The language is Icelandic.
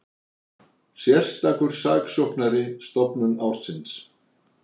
Sérstakur saksóknari stofnun ársins